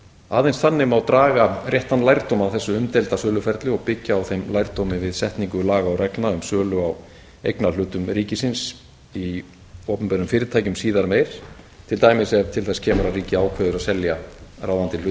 aðeins þannig má draga réttan lærdóm af þessu umdeilda söluferli og byggja á þeim lærdómi við setningu laga og reglna um sölu á eignarhlutum ríkisins í opinberum fyrirtækjum síðar meir til dæmis ef til þess kemur að ríkið ákveður að selja ráðandi hlut sinn